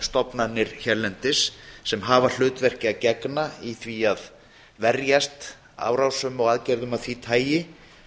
stofnanir hérlendis sem hafa hlutverki að gegna í því að verjast árásum og aðgerðum af því tagi